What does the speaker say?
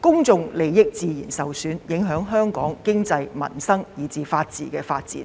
公眾利益自然會受損，影響香港的經濟、民生及法治發展。